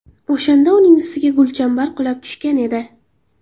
O‘shanda uning ustiga gulchambar qulab tushgan edi.